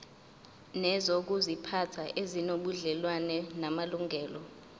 nezokuziphatha ezinobudlelwano namalungelo